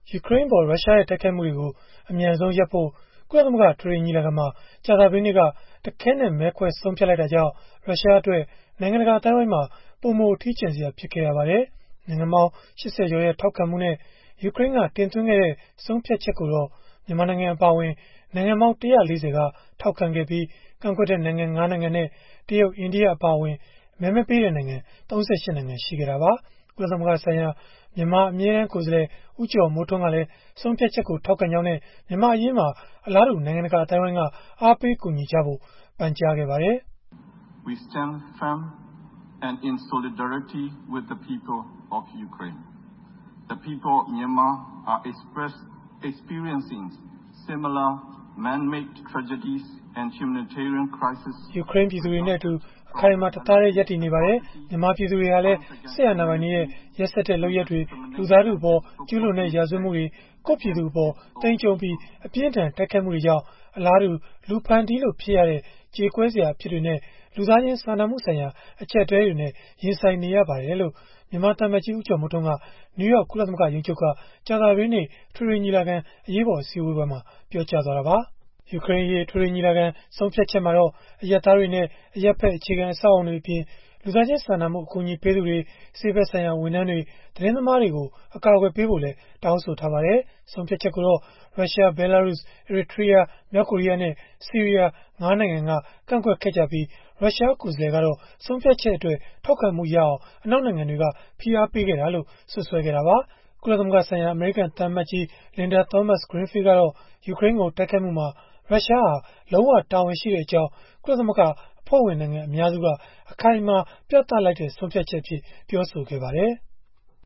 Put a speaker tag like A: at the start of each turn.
A: ယူကရိန်းအပေါ် ရုရှားရဲ့ တိုက်ခိုက်မှုတွေကို အမြန်ဆုံးရပ်ဖို့ ကုလသမဂ္ဂ အထွေထွေညီလာခံမှာ ကြာသပတေးနေ့က တခဲနက် မဲခွဲဆုံးဖြတ်လိုက်တာကြောင့် ရုရှားအတွက် နိုင်ငံတကာ အသိုင်းအဝိုင်းမှာ ပိုမိုအထီးကျန်စရာ ဖြစ်ခဲ့ရပါတယ်။ နိုင်ငံပေါင်း ၈၀ ကျော်ရဲ့ ထောက်ခံမှုနဲ့ ယူကရိန်းက တင်သွင်းခဲ့တဲ့ ဆုံးဖြတ်ချက်ကိုတော့ မြန်မာနိုင်ငံ အပါအဝင် နိုင်ငံပေါင်း ၁၄၀ က ထောက်ခံခဲ့ပြီး၊ ကန့်ကွက်တဲ့ နိုင်ငံ ၅ နိုင်ငံနဲ့ တရုတ်၊ အိန္ဒိယ အပါအဝင် မဲမပေးတဲ့နိုင်ငံ ၃၈ နိုင်ငံ ရှိခဲ့တာပါ။ ကုလသမဂ္ဂဆိုင်ရာ မြန်မာအမြဲတမ်း ကိုယ်စားလှယ် ဦးကျော်မိုးထွန်းကလည်း ဆုံးဖြတ်ချက်ကို ထောက်ခံကြောင်းနဲ့ မြန်မာ့အရေးမှာလည်း အလားတူ နိုင်ငံတကာ အသိုင်းအဝိုင်းက အားပေးကူညီဖို့ ပန်ကြားခဲ့ပါတယ်။ “ယူကရိန်း ပြည်သူတွေနဲ့အတူ အခိုင်အမာ၊ တသားတည်း ရပ်တည်နေပါတယ်။ မြန်မာပြည်သူတွေဟာလည်း စစ်အာဏာပိုင်တွေရဲ့ ရက်စက်တဲ့ လုပ်ရပ်တွေ၊ လူသားထုအပေါ် ကျုးလွန်တဲ့ ရာဇဝတ်မှုတွေ၊ ကိုယ့်ပြည်သူအပေါ် သိမ်းကျုံးပြီး အပြင်းအထန် တိုက်ခိုက်မှုတွေကြောင့် အလားတူ လူဖန်တီးလို့ ဖြစ်ရတဲ့ ကြေကွဲစရာ အဖြစ်တွေနဲ့ လူသားချင်း စာနာမှုဆိုင်ရာ အကျပ်အတည်းနဲ့ ရင်ဆိုင်နေရပါတယ်။” လို့ မြန်မာသံအမတ်ကြီး ဦးကျော်မိုးထွန်းက နယူးယောက် ကုလသမဂ္ဂ ရုံးချုပ်က ကြာပသတေးနေ့ အထွေထွေညီလာခံ အရေးပေါ် အစည်းအဝေးမှာ ပြောကြားသွားတာပါ။ ယူကရိန်းအရေး အထွေထွေညီလာခံ ဆုံးဖြတ်ချက်မှာတော့ အရပ်သားတွေနဲ့ အရပ်ဖက် အခြေခံအဆောက်အအုံတွေအပြင်၊ လူသားချင်းစာနာမှု အကူအညီပေးသူတွေ၊ ဆေးဖက်ဆိုင်ရာ ဝန်ထမ်းတွေ၊ သတင်းသမားတွေကို ကာကွယ်ဖို့လည်း တောင်းဆိုထားပါတယ်။ ဆုံးဖြတ်ချက်ကိုတော့ ရုရှား၊ ဘဲလာရုစ်၊ အီရီထရီးယား၊ မြောက်ကိုရီးနဲ့ ဆီးရီးယား ၅ နိုင်ငံက ကန့်ကွက်ခဲ့ကြပြီး ရုရှားကိုယ်စားလှယ်ကတော့ ဆုံးဖြတ်ချက်အတွက် ထောက်ခံမှုရအောင် အနောက်နိုင်ငံတွေက ဖိအားပေးခဲ့ကြောင်း စွပ်စွဲခဲ့တာပါ။ ကုလသမဂ္ဂဆိုင်ရာ အမေရိကန်သံအမတ်ကြီး Linda Thomas-Greenfield ကတော့ ယူကရိန်းကို တိုက်ခိုက်မှုမှာ ရုရှားဟာ လုံးဝတာဝန်ရှိကြောင်း ကုလသမဂ္ဂ အဖွဲ့ဝင်နိုင်ငံ အများစုက အခိုင်အမာ ပြသလိုက်တဲ့ ဆုံးဖြတ်ချက်အဖြစ် ပြောဆိုခဲ့ပါတယ်။